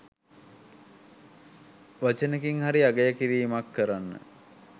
වචනෙකින් හරි අගය කිරීමක් කරන්න